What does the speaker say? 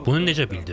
Bunu necə bildim?